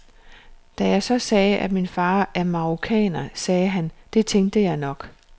Da jeg så sagde, at min far er marokkaner, sagde han, det tænkte jeg nok.